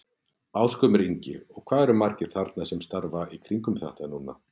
Ásgrímur Ingi: Og hvað eru margir þarna sem starfa í kringum þetta núna?